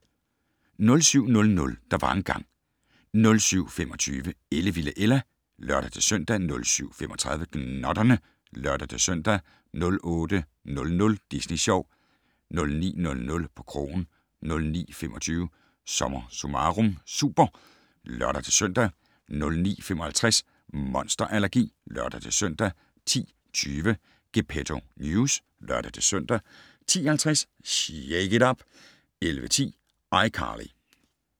07:00: Der var engang ... 07:25: Ellevilde Ella (lør-søn) 07:35: Gnotterne (lør-søn) 08:00: Disney Sjov 09:00: På krogen 09:25: SommerSummarum Super (lør-søn) 09:55: Monster allergi (lør-søn) 10:20: Gepetto News (lør-søn) 10:50: Shake it up! 11:10: iCarly